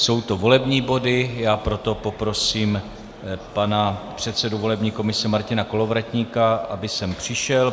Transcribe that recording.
Jsou to volební body, já proto poprosím pana předsedu volební komise Martina Kolovratníka, aby sem přišel.